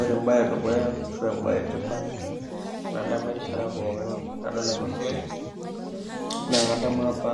Ore embae edukuya ashu embae etipat nadamu erishata pookin tenadol ena siai, naa kadamu apa